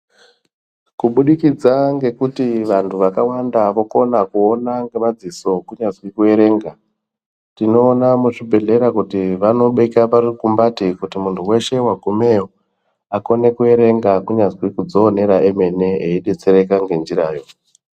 Kubudikidza ngekuti vantu vakawanda vanokona kuona ngemadziso kunyazwi kuverenga. Tinoona muchibhedhlera kuti vanobeka parukumbati kuti muntu veshe vagumeyo akone kuverenga kunyazi kudzionera emene eibetsereka ngenjirayo.